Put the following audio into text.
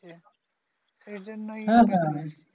এ জন্যই